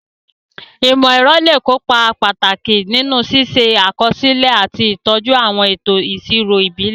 Ìmọ̀-ẹ̀rọ lè kó ipa pàtàkì nínú ṣíṣe àkọsílẹ̀ àti ìtọ́jú àwọn ètò ìṣirò ìbílẹ̀.